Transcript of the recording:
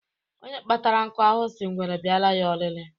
Onye kpatara nkụ ahụhụ, sị ngwere bịara ya ọlili